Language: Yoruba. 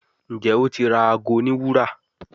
Njé o tí ra àgọ òní wúrà.